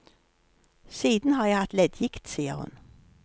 Siden har jeg hatt leddgikt, sier hun.